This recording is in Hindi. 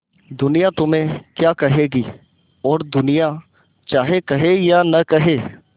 दुनिया तुम्हें क्या कहेगी और दुनिया चाहे कहे या न कहे